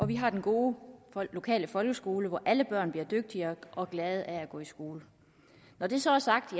vi har den gode lokale folkeskole hvor alle børn bliver dygtigere og glade af at gå i skole når det så er sagt